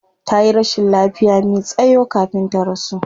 Tayi rashin lafiya me tsayo kafin ta rasu